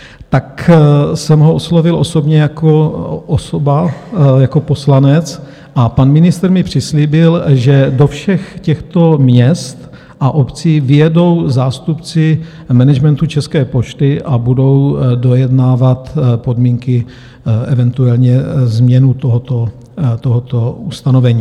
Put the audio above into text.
Tak jsem ho oslovil osobně jako osoba, jako poslanec a pan ministr mi přislíbil, že do všech těchto měst a obcí vyjedou zástupci managementu České pošty a budou dojednávat podmínky, eventuálně změnu tohoto ustanovení.